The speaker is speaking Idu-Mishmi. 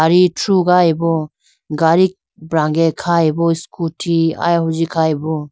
Gadi thrugayibo gadi brange khayibo scooty ayehunji khayibo.